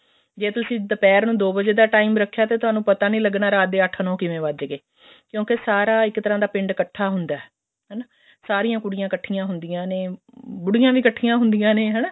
ਜ੍ਵ ਤੁਸੀਂ ਦੁਪਹਿਰ ਨੂੰ ਦੋ ਵਜੇ ਦਾ time ਰੱਖਿਆ ਤੇ ਤੁਹਾਨੂੰ ਪਤਾ ਨੀ ਲੱਗਣਾ ਵੀ ਰਾਤ ਦੇ ਅੱਠ ਨੋ ਕਿਵੇਂ ਵੱਜ ਗੇ ਕਿਉਂਕਿ ਸਾਰਾ ਇੱਕ ਤਰ੍ਹਾਂ ਦਾ ਪਿੰਡ ਇੱਕਠਾ ਹੁੰਦਾ ਹਨਾ ਸਾਰੀਆਂ ਕੁੜੀਆਂ ਇੱਕਠੀਆਂ ਹੁੰਦੀਆਂ ਨੇ ਬੁੜੀਆਂ ਵੀ ਇੱਕਠੀਆਂ ਹੁੰਦੀਆਂ ਨੇ ਹਨਾ